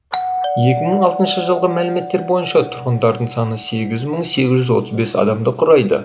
екі мың алтыыншы жылғы мәліметтер бойынша тұрғындарының саны сегіз мың сегіз жүз адамды құрайды